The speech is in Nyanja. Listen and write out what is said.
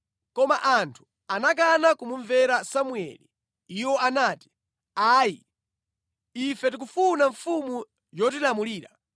Koma anthu anakana kumumvera Samueli. Iwo anati, “Ayi! Ife tikufuna mfumu yotilamulira.